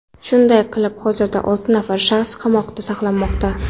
Shunday qilib hozirda olti nafar shaxs qamoqda saqlanmoqda.